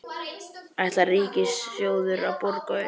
Ætlar Ríkissjóður að borga upp?